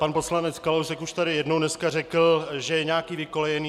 Pan poslanec Kalousek už tady jednou dneska řekl, že je nějaký vykolejený.